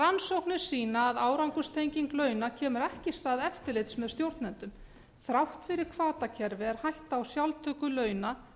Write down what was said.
rannsóknir sýna að árangurstenging launa kemur ekki í stað eftirlits með stjórnendum þrátt fyrir hvatakerfi er hætta á sjálftöku launa